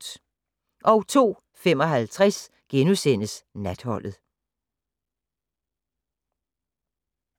02:55: Natholdet *